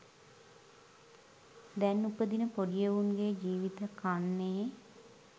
දැන් උපදින පොඩි එවුන්ගේ ජීවිත කන්නේ.